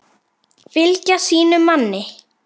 Fylgja sínum manni.